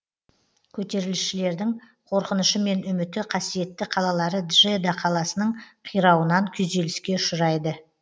көтерілісшілердің қорқынышы мен үміті қасиетті қалалары джеда қаласының қирауынан күйзеліске ұшырайды